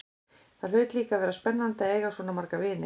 Það hlaut líka að vera spennandi að eiga svona marga vini.